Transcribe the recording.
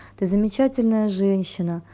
ты замечательная женщина